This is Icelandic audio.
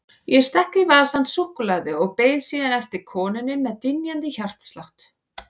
Ég stakk í vasann súkkulaði og beið síðan eftir konunni með dynjandi hjartslátt.